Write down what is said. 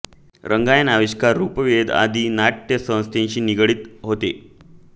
रंगायन आविष्कार रूपवेध आदी नाटय़ संस्थांशी ते निगडित होते